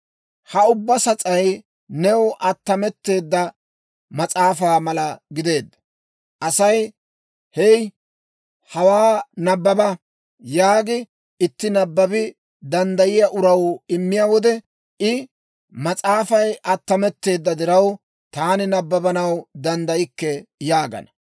Ha ubbaa sas'ay new attametteedda mas'aafaa mala gideedda. Asay, «Hey, hawaa nabbaba» yaagi, itti nabbabi danddayiyaa uraw immiyaa wode I, «Mas'aafay attametteedda diraw, taani nabbabanaw danddaykke» yaagana.